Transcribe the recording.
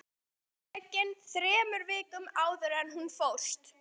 Myndin var tekin þremur vikum áður en hún fórst